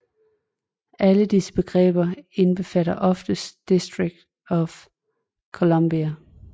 Alle disse begreber indbefatter oftest District of Columbia